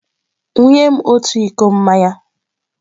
Wunye m otu iko mmanya!